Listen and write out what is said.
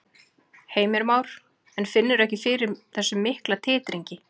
Heimir Már: En finnurðu ekki fyrir þessum mikla titringi?